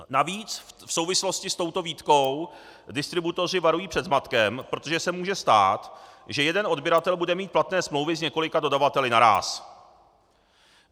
Navíc v souvislosti s touto výtkou distributoři varují před zmatkem, protože se může stát, že jeden odběratel bude mít platné smlouvy s několika dodavateli naráz.